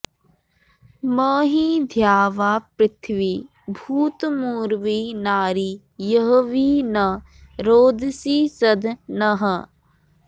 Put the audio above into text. महि॑ द्यावापृथिवी भूतमु॒र्वी नारी॑ य॒ह्वी न रोद॑सी॒ सदं॑ नः